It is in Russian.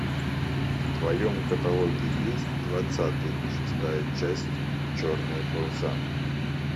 в твоем каталоге есть двадцатый шестая часть черные паруса